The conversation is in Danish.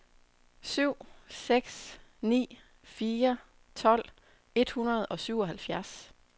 syv seks ni fire tolv et hundrede og syvoghalvfjerds